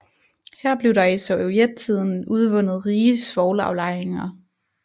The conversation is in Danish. Her blev der i sovjettiden udvundet rige svovlaflejringer